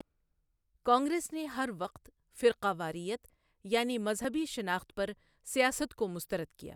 کانگریس نے ہر وقت 'فرقہ واریت'، یعنی مذہبی شناخت پر سیاست کو مسترد کیا۔